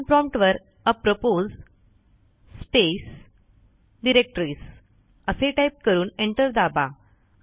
command prompt वर apropos space directories असे type करून एंटर दाबा